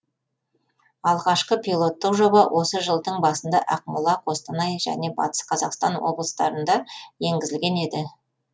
алғашқы пилоттық жоба осы жылдың басында ақмола қостанай және батыс қазақстан облыстарында енгізілген еді